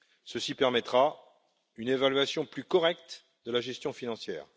Ceci permettra une évaluation plus correcte de la gestion financière.